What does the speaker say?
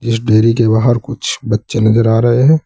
इस देयरी के बाहर कुछ बच्चे नजर आ रहे हैं।